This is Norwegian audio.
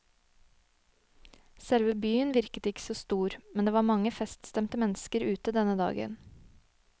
Selve byen virket ikke så stor, men det var mange feststemte mennesker ute denne dagen.